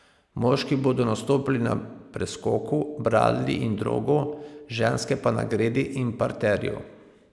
Moški bodo nastopili na preskoku, bradlji in drogu, ženske pa na gredi in parterju.